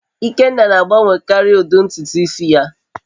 Ikenna na-agbanwekarị ụdị ntutu isi ya